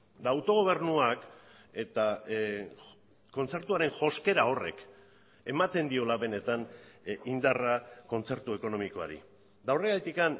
eta autogobernuak eta kontzertuaren joskera horrek ematen diola benetan indarra kontzertu ekonomikoari eta horregatik